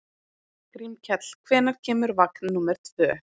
Grímkell, hvenær kemur vagn númer tvö?